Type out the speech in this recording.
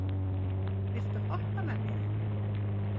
Kali, viltu hoppa með mér?